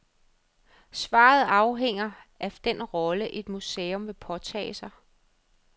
Svaret afhænger af den rolle, et museum vil påtage sig.